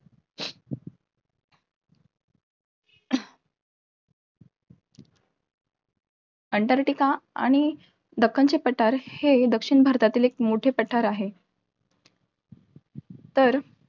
Antarctica आणि दक्खनचे पठार हे दक्षिण भारतातील एक मोठे पठार आहे. तर